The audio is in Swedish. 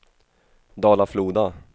Dala-Floda